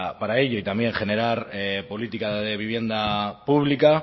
para ello y también generar política de vivienda pública